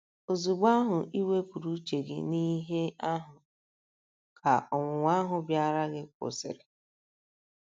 Ozugbo ahụ i wepụrụ uche gị n’ihe um ahụ, ka ọnwụnwa ahụ bịaara gị kwụsịrị. um